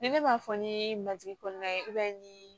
Ni ne m'a fɔ ni matigi kɔnɔna ye ni